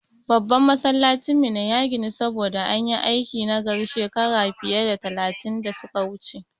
Babban Masallacin garin Minna ya ginu, saboda an yi aiki nagari shekara fiye da talatin da su ka wuce.